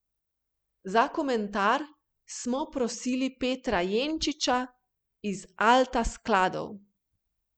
Za komentar smo prosili Petra Jenčiča iz Alta skladov.